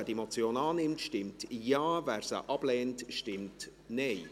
Wer diese Motion annimmt, stimmt Ja, wer sie ablehnt, stimmt Nein.